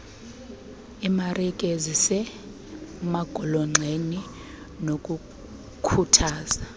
iimarike ezisemagolonxeni nokukhuthaza